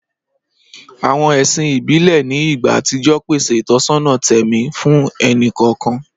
Àwọn ẹ̀sìn ìbílẹ̀ ní ìgbà àtijọ́ pèsè ìtọ́sọ́nà tẹ̀mí fún ẹnì kọ̀ọ̀kan.